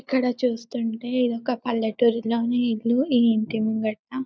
ఇది చూస్తుంటే ఇక్కడ ఒక పల్లెటూరు లోనే ఇల్లు ఆ ఇంటిని కట్టిన--